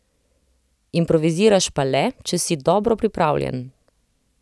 Improviziraš pa le, če si dobro pripravljen.